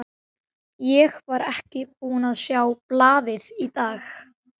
Hér ráða tveir hermenn ljóssins örlögum sigraðs óvinar.